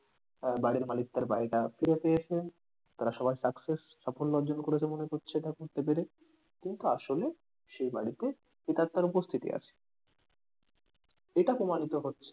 তার বাড়ির মালিক তার বাড়িটা ফিরে পেয়েছেন তারা সবাই success সফল্য অর্জন করছে এটা করতে পেরে কিন্তু আসলে সে বাড়িতে প্রেত্মাতার উপস্থিতি আছে এটা প্রমাণিত হচ্ছে